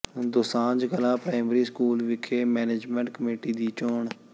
Dosanjh Kalan primary school ਵਿਖੇ management committee ਦੀ ਚੋਣ